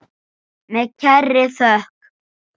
Með kærri þökk.